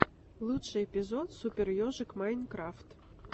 лучший эпизод супер ежик майнкрафт